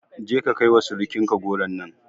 Je ka kai wa surukin ka goron nan